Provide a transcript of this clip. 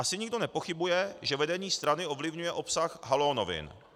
Asi nikdo nepochybuje, že vedení strany ovlivňuje obsah Haló novin.